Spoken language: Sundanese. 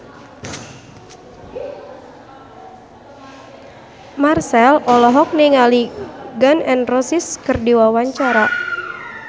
Marchell olohok ningali Gun N Roses keur diwawancara